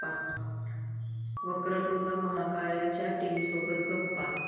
वक्रतुंड महाकाय'च्या टीमसोबत गप्पा